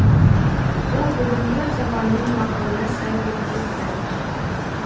бұл бүгінгі заманның мақалына сай болып кетті